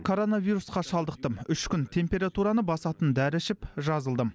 коронавирусқа шалдықтым үш күн температураны басатын дәрі ішіп жазылдым